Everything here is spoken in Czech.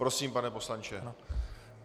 Prosím, pane poslanče.